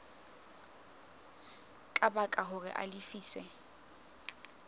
ka baka hore a lefiswe